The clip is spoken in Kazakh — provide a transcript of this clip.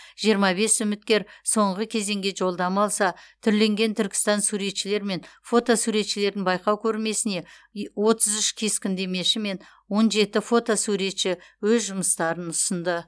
жиырма бес үміткер соңғы кезеңге жолдама алса түрленген түркістан суретшілер мен фото суретшілердің байқау көрмесіне отыз үш кескіндемеші мен он жеті фотосуретші өз жұмыстарын ұсынды